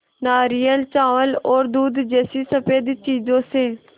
नारियल चावल और दूध जैसी स़फेद चीज़ों से